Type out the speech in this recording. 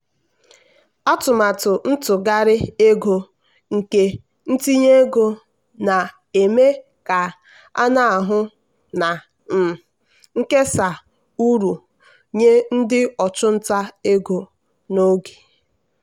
atụmatụ ntụgharị ego nke ntinye ego na-eme ka a hụ na um nkesa uru nye ndị ọchụnta ego n'oge.